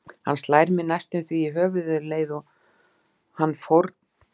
Hann slær mig næstum því í höfuðið um leið og hann fórn